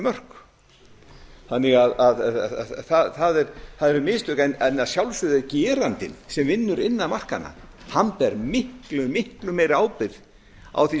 mörk það voru mistök en að sjálfsögðu ber gerandinn sem vinnur innan markanna miklu miklu meiri ábyrgð á því